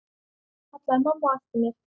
kallaði mamma á eftir mér.